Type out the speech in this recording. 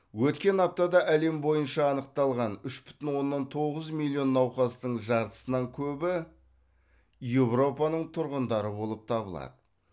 өткен аптада әлем бойынша анықталған үш бүтін оннан тоғыз миллион науқастың жартысынан көбі еуропаның тұрғындары болып табылады